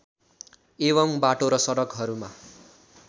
एवं बाटो र सडकहरूमा